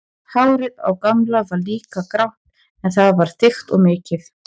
Hárið á Gamla var líka grátt en það var þykkt og mikið.